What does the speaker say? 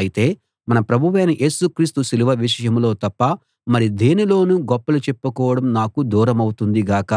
అయితే మన ప్రభువైన యేసు క్రీస్తు సిలువ విషయంలో తప్ప మరి దేనిలోనూ గొప్పలు చెప్పుకోవడం నాకు దూరమవుతుంది గాక